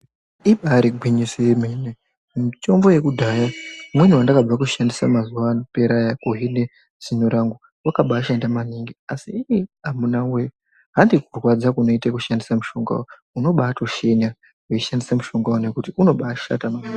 Ibari gwinyiso yemene mitombo yekudhaya umweni wandakabva kushandisa mazuva apera aya kuheale zino rangu wakabashanda maningi asi iii amunawee handikurwadza kunoite kushandisa mushongawo unobatoshinya uchishandise mushongawo nekuti unombatoshata maningi